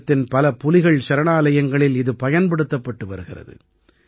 தேசத்தின் பல புலிகள் சரணாயலயங்களில் இது பயன்படுத்தப்பட்டு வருகிறது